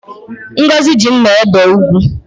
Ngọzi ji mma ebe ugu